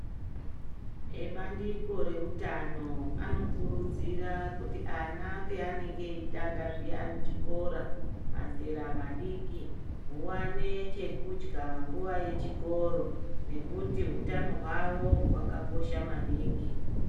Ebandiko reutano anokurudzira kuti ana paanenge eitanga zviyani chikora mazera madiki huvane chekudya nguva yechikoro. Nekuti hutano hwavo hwakakosha maningi.